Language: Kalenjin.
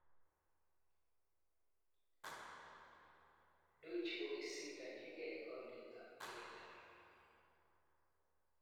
Dewji kosindanjigei konunetab ALM